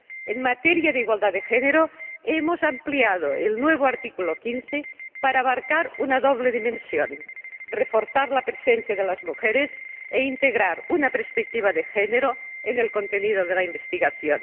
En materia de igualdad de género, hemos ampliado el nuevo artículo 15 para abarcar una doble dimensión reforzar la presencia de las mujeres e integrar una perspectiva de género en el contenido de la investigación.